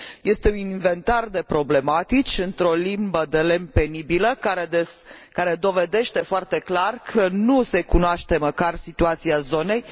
este un inventar de problematici, într o limbă de lemn penibilă, care dovedește foarte clar că nu se cunoaște nici măcar situația zonei.